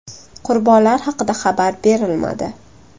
Qurbonlar haqida xabar berilmadi.